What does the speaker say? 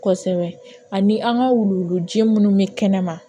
Kosɛbɛ ani an ka wuluwulu jɛ munnu bɛ kɛnɛma